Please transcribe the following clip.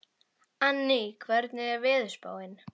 Anný, hvernig er veðurspáin?